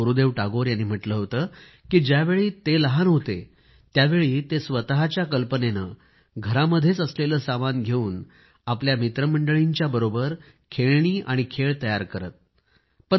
गुरूदेव टागोर यांनी म्हटले होते की ज्यावेळी ते लहान होते त्यावेळी ते स्वतःच्या कल्पनेने घरामध्येच असलेले सामान घेवून आपल्या मित्रमंडळींच्याबरोबर खेळणी आणि खेळ तयार करीत होते